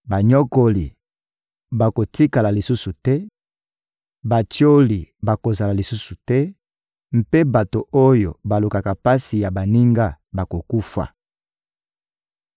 Banyokoli bakotikala lisusu te, batioli bakozala lisusu te mpe bato oyo balukaka pasi ya baninga bakokufa: